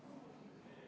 Muudatusettepanek nr 4.